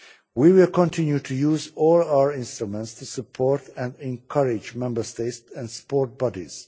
We will continue to use all our instruments to support and encourage Member States and sport bodies.